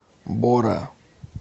бора